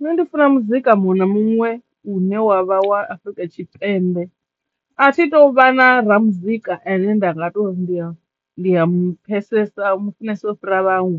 Nṋe ndi funa muzika muṅwe na muṅwe u ne wa vha wa Afrika Tshipembe a thi tu vha na ra muzika ane nda nga to ndiya ndi ya mupfhesesa u mufunesa ufhira vhaṅwe